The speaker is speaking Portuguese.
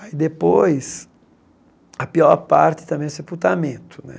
Aí depois, a pior parte também é o sepultamento, né?